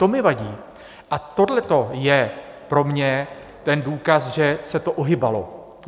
To mi vadí a tohleto je pro mě ten důkaz, že se to ohýbalo.